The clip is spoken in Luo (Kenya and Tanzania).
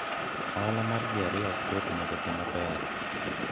ohala mar ji ariyo ok yot mondo odhi maber